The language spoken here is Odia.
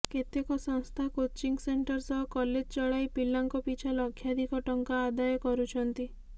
କେତେକ ସଂସ୍ଥା କୋଚିଂ ସେଣ୍ଟର ସହ କଲେଜ ଚଳାଇ ପିଲାଙ୍କ ପିଛା ଲକ୍ଷାଧିକ ଟଙ୍କା ଆଦାୟ କରୁଛନ୍ତି